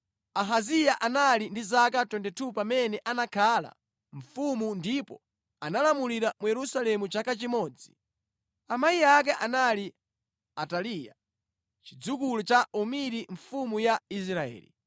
Ahaziya anali ndi zaka 22 pamene anakhala mfumu ndipo analamulira mu Yerusalemu chaka chimodzi. Amayi ake anali Ataliya, chidzukulu cha Omiri mfumu ya Israeli.